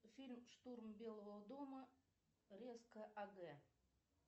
фильм штурм белого дома резко аг